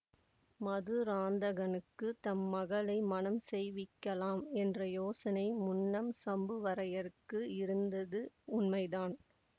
மதுராந்தகனுக்குத் தம் மகளை மணம் செய்விக்கலாம் என்ற யோசனை முன்னம் சம்புவரையருக்கு இருந்தது உண்மைதான்